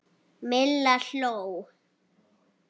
Milla hló.